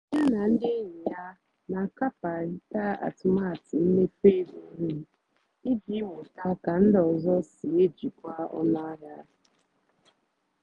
yá nà ndí ényì yá nà-àkàparị́tá àtụ́matụ́ mméfú égó nrì ìjì mụ́tá kà ndí ọ́zọ́ sí èjìkwá ónú àhịá.